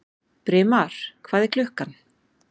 Brimar, hvað er klukkan?